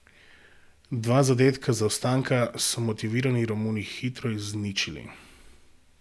Dva zadetka zaostanka so motivirani Romuni hitro izničili.